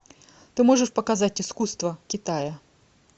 ты можешь показать искусство китая